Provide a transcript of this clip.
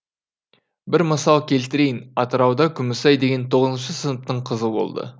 бір мысал келтірейін атырауда күмісай деген тоғызыншы сыныптың қызы болды